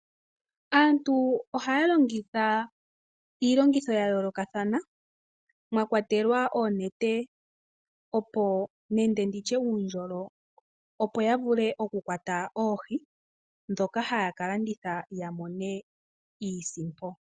Aantu ohaya longitha iilongitho ya yoolokathana mwakwatelwa oonete nenge nditye uundjolo opo ya vule okukwata oohi ndhoka haya kalanditha ya mone iisimpo.